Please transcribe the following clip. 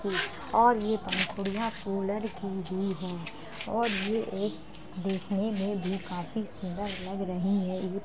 और ये पंखुड़ियाँ कूलर की भी हैं और ये एक देखने में भी काफी सुन्दर लग रहीं हैं | ये --